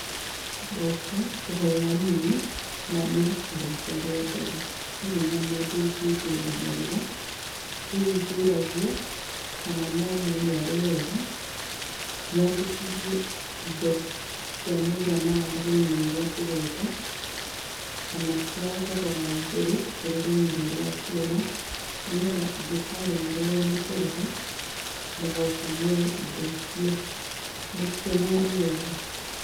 Ndoka, kũhoya rũni, na nĩ rita rĩakwa rĩa mbere. Ndirĩ na mũndũ ũngĩndũgamĩrĩra, rĩu ngũragia, kana no muone arĩ wega, nyandĩkithie indo cia mũigana wa rũni rũrĩa ndĩrenda, kana cia thogora wa igũrũ kũrĩ rũni rũrĩa nguoya, nĩgetha ingĩkaremererwo nĩ kũrĩha, mũgoka muoye indo icio. Mũkuona arĩ wega?